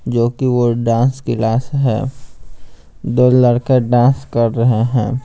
जो कि वो डांस क्लास है दो लड़के डांस कर रहे हैं।